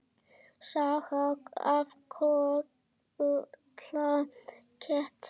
Sagan af Kolla ketti.